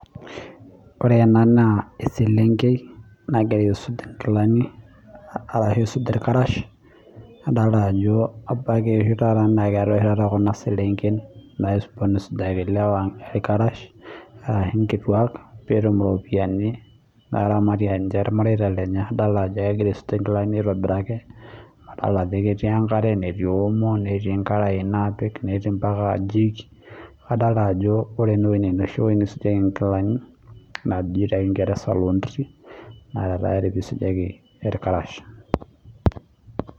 Ore ena naa, eselenkei nagira aisuj inkilani arashu aisuj irkarash nadolita ajo abaiki naa keetae oshi taata kuna selengen napoonu aisujaki ilewa irkarash arashu inkutuak peetum iropiyani naramatie irmareita lenye. Idol ajo egira aisuj inkilani aitobiraki, adol ajo ketii enkare, netii omo, netii karayani napik, netii mbaka jik. Adolita ajo ore ninye enoshi wueji neisujieki inkilani, naaji tekingereza laundry naa ninye eisujieki irkarash.